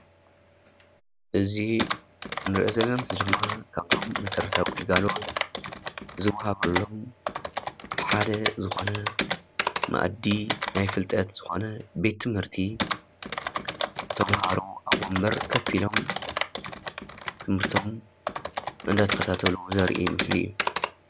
እዚ እንሪኦ ዘለና ምስሊ ድማ ካብቶም መሰረታዊ ግልጋሎት ዝብሃሉ ሓደ ዝኾነ መኣዲ ናይ ፍልጠት ዝኾነ ቤት ትምህርቲ ተምሃሮ ኣብ ወንበር ከፍ ኢሎም ትምህርቶም እንዳተኸታተሉ ዘርኢ ምስሊ እዩ።